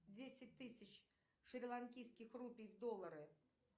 десять тысяч шриланкийских рупий в доллары